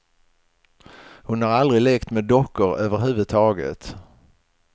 Hon har aldrig lekt med dockor överhuvudtaget.